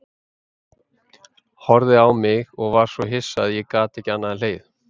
Horfði á mig og var svo hissa að ég gat ekki annað en hlegið.